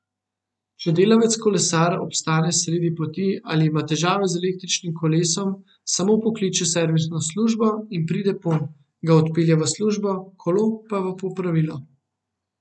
Če delavec kolesar obstane sredi poti ali ima težave z električnim kolesom, samo pokliče servisno službo, in pride ponj, ga odpelje v službo, kolo pa v popravilo.